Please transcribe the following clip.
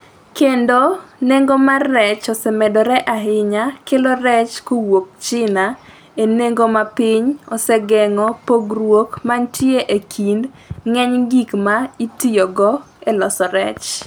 kendo nengo mar rech osemedore ahinya, kelo rech kowuok China e nengo ma piny osegeng’o pogruok ma ne nitie e kind ng’eny gik ma itiyogo e loso rech.